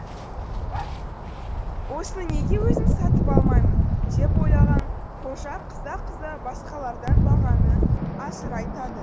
осыны неге өзім сатып алмаймын деп ойлаған қожа қыза қыза басқалардан бағаны асыра айтады